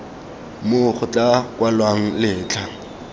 moo go tla kwalwang letlha